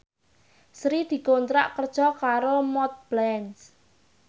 Sri dikontrak kerja karo Montblanc